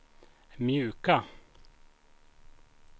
mjuka